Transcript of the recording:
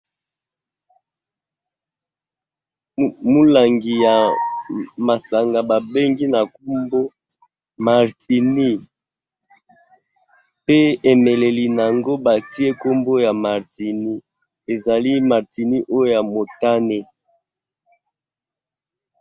Mulangi ya masanga babengi na nkombo martini pe emeleli nango batie nkombo ya martini ezali martini oyo ya motane.